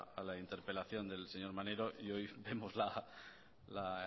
a la interpelación del señor maneiro y hoy vemos la